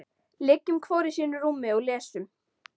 Liggjum hvor í sínu rúmi og lesum.